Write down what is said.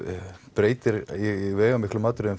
breytir í veigamiklum atriðum